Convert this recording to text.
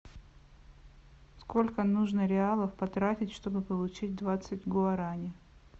сколько нужно реалов потратить чтобы получить двадцать гуарани